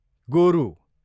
गोरु